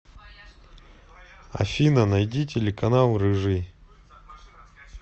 афина найди телеканал рыжий